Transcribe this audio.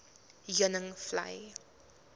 heuningvlei